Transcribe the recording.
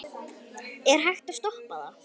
Er hægt að toppa það?